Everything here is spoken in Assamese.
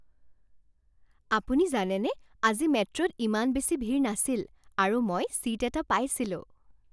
আপুনি জানেনে আজি মেট্ৰ'ত ইমান বেছি ভিৰ নাছিল আৰু মই ছীট এটা পাইছিলোঁ?